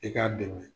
I k'a dɛmɛ